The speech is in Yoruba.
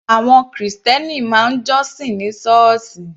Àwọn krìstẹ́nì máa ń jọ́sìn ní sọ́ọ̀sì.